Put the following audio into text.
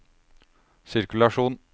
sirkulasjon